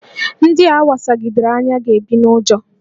Ndị a wasagidere anya ga-ebi n'ụjọ